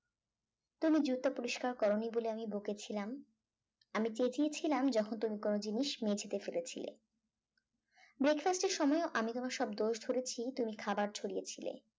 তুমি জুতো পরিষ্কার করোনি বলে বকেছিলাম আমি চেঁচিয়েছিলাম যখন তুমি কোন জিনিস মেঝেতে ফেলেছিলে breakfast র সময় আমি তোমার সব দোষ ধরেছি তুমি খাবার ছড়িয়েছিল